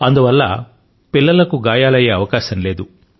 అందువల్ల పిల్లలకు గాయాలయ్యే అవకాశం లేదు